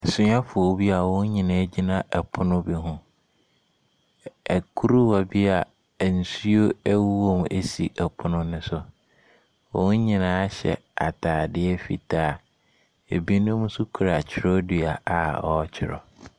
Asuafoɔ bi a wɔn nyinaa agyina pono bi ho. Kuruwa bi a nsuo ɛwɔm asi pono no so. Wɔn nyinaa hyɛ atadeɛ fitaa. Binom nso kita twerɛdua a ɔretwerɛ.